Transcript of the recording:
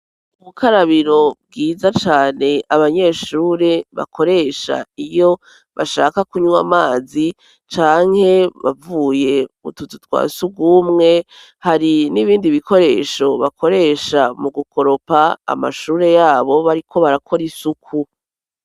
Ubukarabiro bwiza cane abanyeshure bakoresha iyo bashaka kunywa amazi canke bavuye mu tuzu twa sugumwe hari n'ibindi bikoresho bakoresha mu gukoropa amashure yabo bariko barakora isuku.